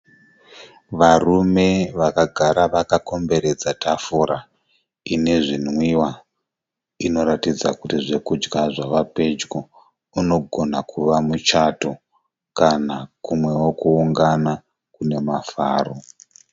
Varume vakagara vakomberedza tafura ine zvinwiwa. Inoratidza kuti zvokudya zvava pedyo. Unogona kuva muchato kana kumwewo kuungana kune mafaro.